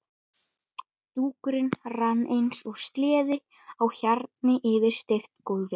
Dúkurinn rann eins og sleði á hjarni yfir steypt gólfið.